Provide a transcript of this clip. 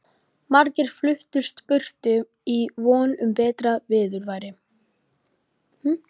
Margir fluttust burtu í von um betra viðurværi.